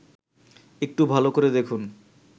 একটু ভাল করে দেখুন